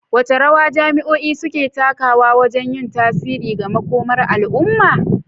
Wace rawa jami'o'i suke takawa wajen yin tasiri ga makomar al'umma?